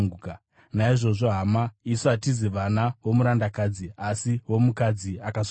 Naizvozvo, hama, isu hatizi vana vomurandakadzi, asi vomukadzi akasununguka.